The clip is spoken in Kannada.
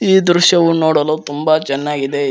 ಈ ದೃಶ್ಯವು ನೋಡಲು ತುಂಬ ಚೆನ್ನಾಗಿದೆ.